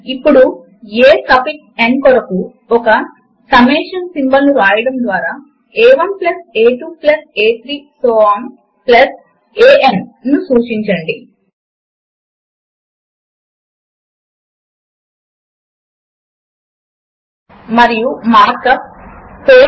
ఇప్పుడు main menu bar పైన ఉన్న ఇన్సెర్ట్ మెనూ పైన క్లిక్ చేయండి మరియు ఆ తరువాత క్రింద వైపుకు చూపిస్తూ ఉన్న ఆబ్జెక్ట్ ను క్లిక్ చేయండి మరియు ఆ తరువాత ఫార్ములా పైన క్లిక్ చేయండి